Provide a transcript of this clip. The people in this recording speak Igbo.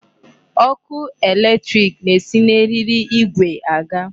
Ọkụ electric na-esi na eriri igwe aga.